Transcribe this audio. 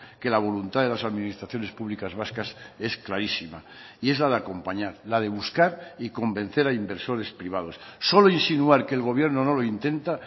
que la voluntad de las administraciones públicas vascas es clarísima y es la de acompañar la de buscar y convencer a inversores privados solo insinuar que el gobierno no lo intenta